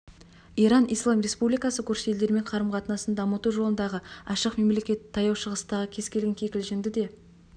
иран ислам республикасы көрші елдермен қарым-қатынасын дамыту жолындағы ашық мемлекет таяу шығыстағы кез келген кикілжіңді де